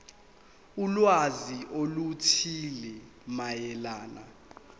ulwazi oluthile mayelana